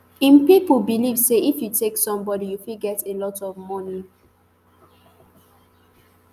im pipo believe say if you take somebody you fit get a lot of money